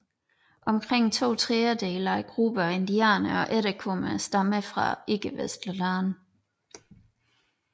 Omkring to tredjedele af gruppen af indvandrere og efterkommere stammer fra ikkevestlige lande